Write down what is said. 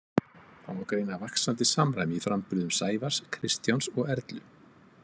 Það má greina vaxandi samræmi í framburðum Sævars, Kristjáns og Erlu.